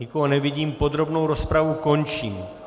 Nikoho nevidím, podrobnou rozpravu končím.